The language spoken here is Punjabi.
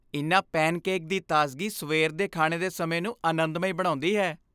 ਇਨ੍ਹਾਂ ਪੈਨਕੇਕ ਦੀ ਤਾਜ਼ਗੀ ਸਵੇਰ ਦੇ ਖਾਣੇ ਦੇ ਸਮੇਂ ਨੂੰ ਅਨੰਦਮਈ ਬਣਾਉਂਦੀ ਹੈ।